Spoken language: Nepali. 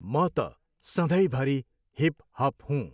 म त सधैँभरि हिप हप हूँ।